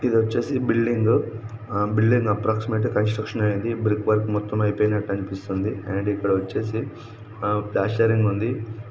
ఇది వచ్చేసి building building approximate గా కన్స్ట్రక్షన్ ఇది బ్రిక్ వర్క్ మొత్తం ఐపోనట్టుగా కనిపిస్తుంది. అండ్ ఇక్కడ వచ్చేసి ఆ ప్లాస్టరింగ్ ఉంది.